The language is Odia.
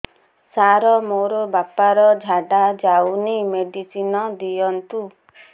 ସାର ମୋର ବାପା ର ଝାଡା ଯାଉନି ମେଡିସିନ ଦିଅନ୍ତୁ